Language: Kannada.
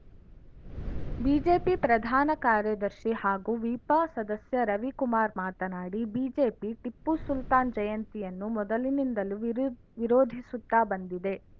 ಬಿಜೆಪಿ ಪ್ರಧಾನ ಕಾರ್ಯದರ್ಶಿ ಹಾಗೂ ವಿಪ ಸದಸ್ಯ ರವಿಕುಮಾರ್‌ ಮಾತನಾಡಿ ಬಿಜೆಪಿ ಟಿಪ್ಪು ಸುಲ್ತಾನ್‌ ಜಯಂತಿಯನ್ನು ಮೊದಲಿನಿಂದಲೂ ವಿರು ವಿರೋಧಿಸುತ್ತಾ ಬಂದಿದೆ